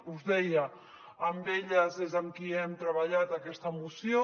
us deia amb elles és amb qui hem treballat aquesta moció